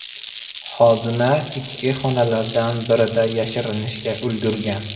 Xodima ichki xonalardan birida yashirinishga ulgurgan.